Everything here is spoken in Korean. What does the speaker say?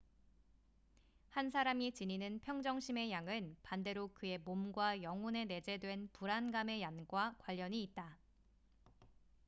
한 사람이 지니는 평정심의 양은 반대로 그의 몸과 영혼에 내재된 불안감의 양과 관련이 있다